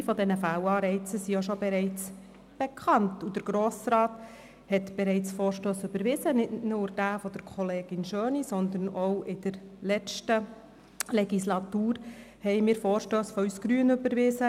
Einige dieser Fehlanreize sind bereits bekannt, und der Grosse Rat hat bereits Vorstösse überwiesen, nicht nur denjenigen von Kollegin Schöni, sondern wir haben in der letzten Legislatur auch Vorstösse von uns Grünen überwiesen.